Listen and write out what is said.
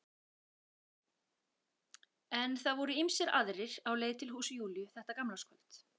En það voru ýmsir aðrir á leið til húss Júlíu þetta gamlárskvöld.